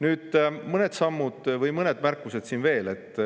Nüüd mõned märkused veel.